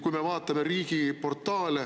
Kui me vaatame riigiportaale …